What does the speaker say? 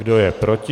Kdo je proti?